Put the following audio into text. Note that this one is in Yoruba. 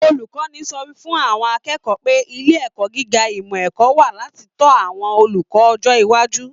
Olukọni sọ fún àwọn akẹ́kọ̀ọ́ pé ilé ẹ̀kọ́ gíga ìmọ ẹ̀kọ́ wà láti tọ àwọn olùkọ́ ọjọ iwájú.